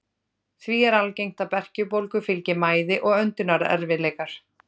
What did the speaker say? Því er algengt að berkjubólgu fylgi mæði og öndunarerfiðleikar.